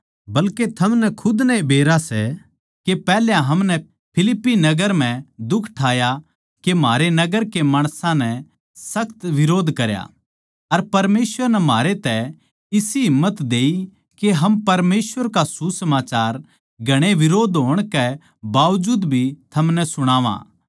बल्के थमनै खुद नै ए बेरा सै के पैहल्या हमनै फिलिप्पी नगर म्ह दुख ठाया के म्हारा नगर के माणसां नै सख्त बिरोध करया अर परमेसवर नै म्हारै तै इसी हिम्मत देई के हम परमेसवर का सुसमाचार घणे बिरोध्द होण के बावजूद भी थमनै सुणावां